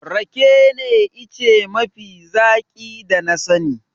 Rake ne ice mafi zaƙi da na sani.